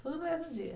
Tudo no mesmo dia?